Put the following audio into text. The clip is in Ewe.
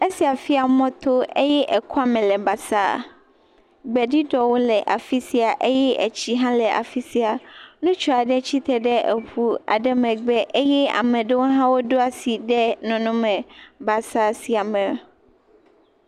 Esia fia mɔto eye ekɔ me le basaa, gbeɖuɖɔwo le afi sia eye etsi hã le afi sia, ŋutsu aɖe tsitre ɖe eŋua ɖe megbe eye ame aɖewo hã woɖo asi ɖe nɔnɔme basaa sia me.